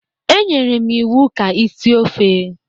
E nyere m iwu ka ị sie ofe!